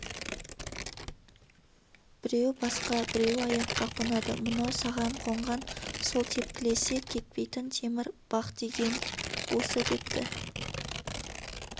біреуі басқа біреуі аяққа қонады мынау саған қонған сол тепкілесе кетпейтін темір бақ деген осы депті